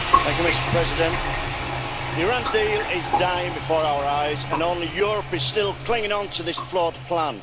Mr President, the Iran deal is dying before our eyes and only Europe is still clinging on to this flawed plan.